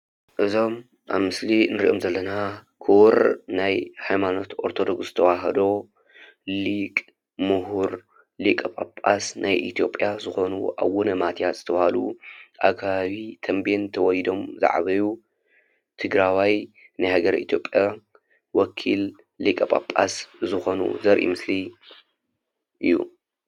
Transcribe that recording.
እዞም ኣብ ምስሊ ንሪኦም ዘለና ክቡር ናይ ሃይማኖት ኣርቶዶክስ ተዋህዶ ሊቅ ፣ ሙሁር ፣ ሊቀ ጳጳስ ናይ ኢትዮጰያ ዝኾኑ ኣቡነ ማትያስ ዝተብሃሉ ኣብ ከባቢ ተንቤን ተወሊዶም ዝዓበዩ ትግራዋይ ናይ ሃገረ ኢትዮጲያ ወኪል ሊቀ ጳጳስ ዝኮኑ ዘርኢ ምስሊ እዩ።